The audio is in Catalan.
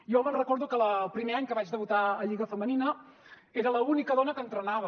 jo recordo que el primer any que vaig debutar a lliga femenina era l’única dona que entrenava